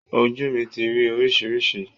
Ojú mi ti rí oríṣiríṣi